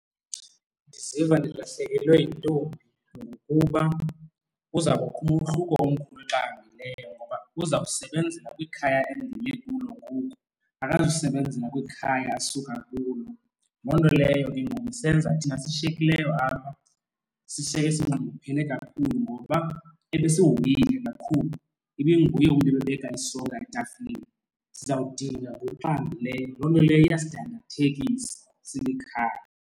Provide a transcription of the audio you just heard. Ndiziva ndilahlekelwe yintombi ngokuba kuza kubakho umehluko omkhulu xa ahambileyo ngoba kuzawusebenzela kwikhaya endime kulo ngoku akazusebenzela kwikhaya asuka kulo. Loo nto leyo ke ngoku isenza thina sishiyekileyo apha sishiyeke sinxunguphele kakhulu ngoba ebesihoyile kakhulu ibinguye umntu obebeka isonka etafileni. Sizawudinga ngoku ahambileyo loo nto leyo iyasidandathekisa silikhaya.